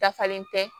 Dafalen tɛ